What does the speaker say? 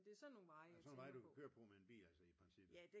Men det er sådan nogle vej jeg tænker på